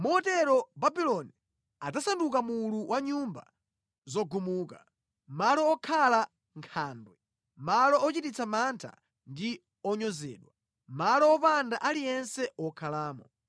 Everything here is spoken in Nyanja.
Motero Babuloni adzasanduka mulu wa nyumba zogumuka, malo okhala nkhandwe, malo ochititsa mantha ndi onyozedwa, malo wopanda aliyense wokhalamo.